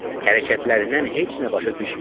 Hərəkətlərindən heç nə başa düşmürdüm.